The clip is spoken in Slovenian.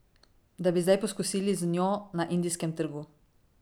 Da bi zdaj poskusili z njo na indijskem trgu.